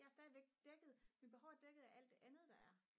jeg er stadigvæk dækket mine behov er dækket af alt det andet der er